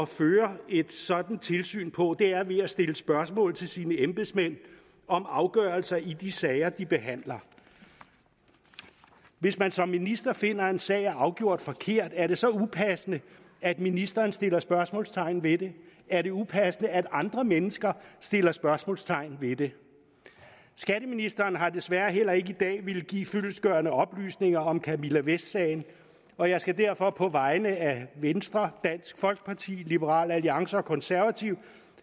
føre et sådant tilsyn på er ved at stille spørgsmål til sine embedsmænd om afgørelser i de sager de behandler hvis man som minister finder at en sag er afgjort forkert er det så upassende at ministeren stiller spørgsmålstegn ved det er det upassende at andre mennesker stiller spørgsmålstegn ved det skatteministeren har desværre heller ikke i dag villet give fyldestgørende oplysninger om camilla vest sagen og jeg skal derfor på vegne af venstre dansk folkeparti liberal alliance og konservative